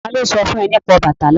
Ta ló sọ fún ẹ nípa Ọbàtálá?